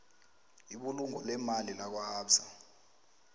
ibulungo leemali lakwaabsa